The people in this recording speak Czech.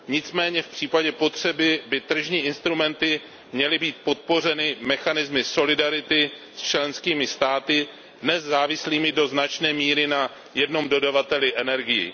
Nicméně v případě potřeby by tržní instrumenty měly být podpořeny mechanismy solidarity s členskými státy dnes závislými do značné míry na jednom dodavateli energií.